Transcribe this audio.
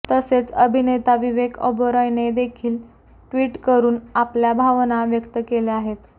तसेच अभिनेता विवेक ओबेरॉयने देखील ट्विटकरून आपल्या भावना व्यक्त केल्या आहेत